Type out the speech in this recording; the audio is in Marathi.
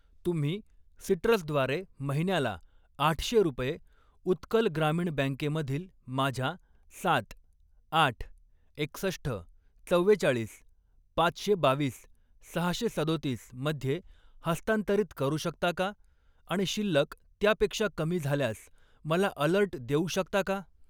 तुम्ही सिट्रस द्वारे महिन्याला आठशे रुपये उत्कल ग्रामीण बँके मधील माझ्या सात, आठ, एकसष्ठ, चव्वेचाळीस, पाचशे बावीस, सहाशे सदोतीस मध्ये हस्तांतरित करू शकता का आणि शिल्लक त्यापेक्षा कमी झाल्यास मला अलर्ट देऊ शकता का?